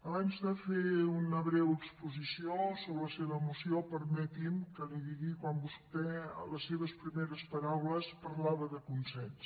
abans de fer una breu exposició sobre la seva moció permeti’m que li digui quan vostè a les seves primeres paraules parlava de consens